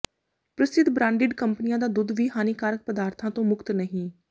ਪ੍ਰਸਿੱਧ ਬ੍ਰਾਂਡਿਡ ਕੰਪਨੀਆਂ ਦਾ ਦੁੱਧ ਵੀ ਹਾਨੀਕਾਰਕ ਪਦਾਰਥਾਂ ਤੋਂ ਮੁਕਤ ਨਹੀਂ